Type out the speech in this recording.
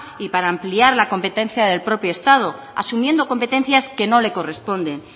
y para ampliar la competencia del propio estado asumiendo competencias que no le corresponden